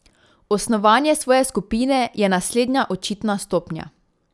Osnovanje svoje skupine je naslednja očitna stopnja.